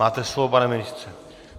Máte slovo, pane ministře.